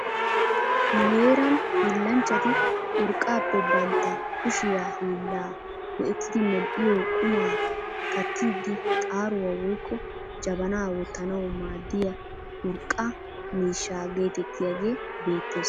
Nu heeran hiillanchchati urqqaappe bantta kushiyaa hiillaa go"ettidi medhdhiyoo qumaa kattiidi xaaruwaa woykko jabanaa wottanawu maaddiyaa urqqaa miishsha getettiyaagee beettes.